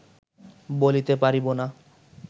বলিতে পারিব না